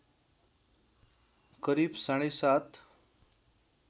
करिब साढे सात